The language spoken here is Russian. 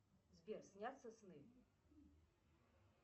сбер снятся сны